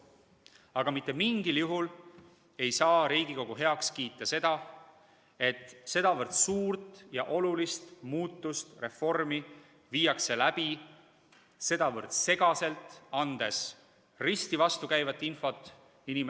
Aga mitte mingil juhul ei saa Riigikogu heaks kiita, et sedavõrd suurt ja olulist muudatust, reformi viiakse läbi sedavõrd segaselt, andes inimestele risti vastukäivat infot.